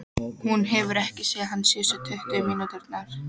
Hún hefur ekki séð hann síðustu tuttugu mínúturnar.